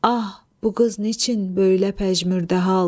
Ah, bu qız niçin böylə pəjmürdə hal.